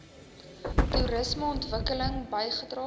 toerisme ontwikkeling bygedra